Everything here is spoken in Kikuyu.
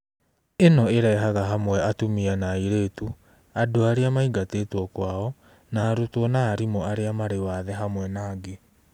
Ĩno ĩrehaga hamwe atumia na airĩtu, andũ arĩa maingatĩtwo kwao, na arutwo na arimũ arĩa marĩ wathe hamwe na angĩ.